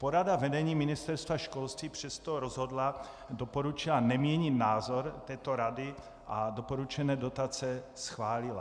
Porada vedení Ministerstva školství přesto rozhodla, doporučila neměnit názor této rady a doporučené dotace schválila.